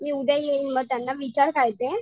मी उद्या येईल म त्यांना विचार काय ते.